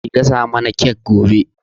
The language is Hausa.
Ki gasa mana kek gobe.